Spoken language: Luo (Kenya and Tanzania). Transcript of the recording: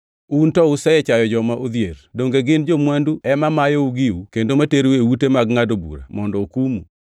Un to usechayo joma odhier! Donge gin jo-mwandu ema mayou giu kendo materou e ute mag ngʼado bura mondo okumu?